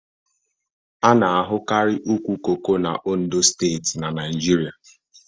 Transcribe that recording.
A na-ahukari ụkwụ koko n'Ondo steeti n'Naijiria